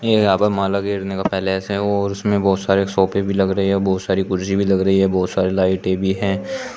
यहां पे माला घेरने का पैलेस हैं और उसमें बहोत सारे सोफे भी लग रहे है बहोत सारी कुर्सी भी लग रही है बहोत सारे लाइटें भी हैं।